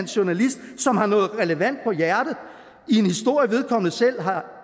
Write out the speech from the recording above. journalist som har noget relevant på hjerte i en historie som vedkommende selv